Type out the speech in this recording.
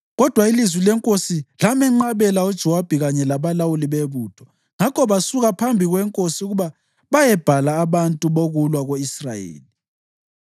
Kodwa ilizwi lenkosi lamenqabela uJowabi kanye labalawuli bebutho; ngakho basuka phambi kwenkosi ukuba bayebhala abantu bokulwa ko-Israyeli.